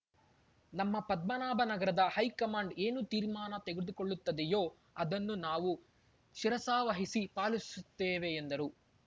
ನಮ್ಮ ಪದ್ಮನಾಭನಗರದ ಹೈಕಮಾಂಡ್‌ ಏನು ತೀರ್ಮಾನ ತೆಗೆದುಕೊಳ್ಳುತ್ತದೆಯೋ ಅದನ್ನು ನಾವು ಶಿರಸಾವಹಿಸಿ ಪಾಲಿಸುತ್ತೇವೆ ಎಂದರು